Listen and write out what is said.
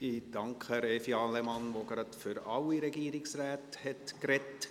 Ich danke Evi Allemann, die gleich für alle Regierungsräte gesprochen hat.